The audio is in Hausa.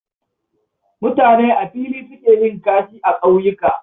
Mutane a fili suke yin kashi a ƙauyuka